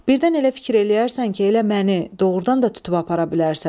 Birdən elə fikir eləyərsən ki, elə məni doğurdan da tutub aparasan.